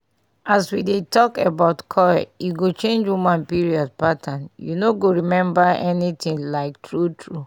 as we dey talk about coil e go change woman period patternu no go remember anything like true true